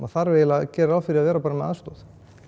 þarf eiginlega að gera ráð fyrir að vera bara með aðstoð